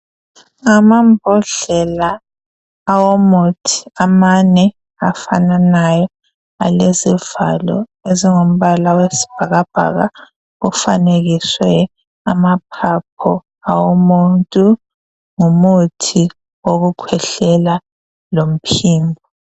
Amambodlela awomuthi amane afananayo alezivalo ezingumbala wesibhakabhaka ofanekiswe amaphapho awomuntu ngumuthi wokukhwehlela lomphini.